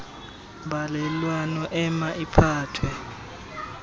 mbalelwano ema iphathwe